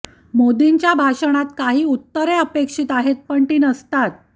मोदींच्या भाषणात काही उत्तरे अपेक्षित आहेत पण ती नसतात